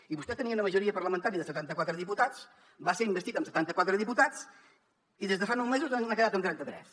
i vostè tenia una majoria parlamentària de setanta quatre diputats va ser investit amb setanta quatre diputats i des de fa nou mesos n’ha quedat en trenta tres